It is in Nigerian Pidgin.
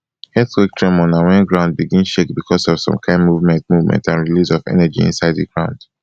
earthquake tremor na wen ground begin shake because of some kain movement movement and release of energy inside di ground